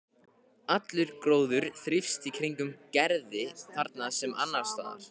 Allur gróður þrífst í kringum Gerði þarna sem annars staðar.